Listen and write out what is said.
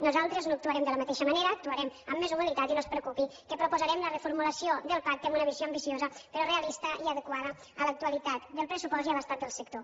nosaltres no actuarem de la mateixa manera actuarem amb més humilitat i no es preocupi que proposarem la reformulació del pacte amb una visió ambiciosa però realista i adequada a l’actualitat del pressupost i a l’estat del sector